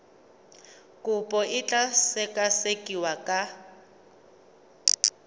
kopo e tla sekasekiwa ka